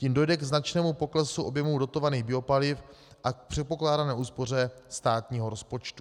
Tím dojde k značnému poklesu objemu dotovaných biopaliv a k předpokládané úspoře státního rozpočtu.